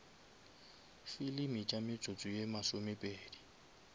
filimi tša metsotso ye masomepedi